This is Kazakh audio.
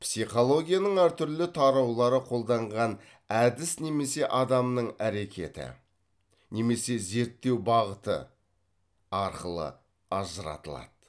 психологияның әртүрлі тараулары қолданған әдіс немесе адамның әрекеті немесе зерттеу бағыты арқылы ажыратылады